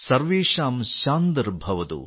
സർവേഷാം ശാന്തിർ ഭവതു